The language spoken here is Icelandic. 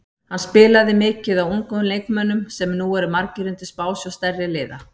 Hann spilaði mikið á ungum leikmönnum sem eru nú margir undir smásjá stærri liða.